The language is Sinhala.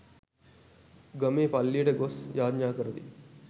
ගමේ පල්ලියට ගොස් යාච්ඥා කරති.